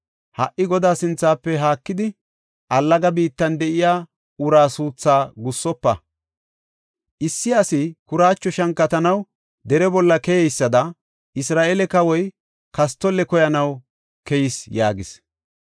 Ha77i Godaa sinthafe haakidi, allaga biittan de7iya uraa suuthaa gussofa. Issi asi kuraacho shankatanaw dere bolla keyeysada, Isra7eele kawoy kastolle koyanaw keyis” yaagis.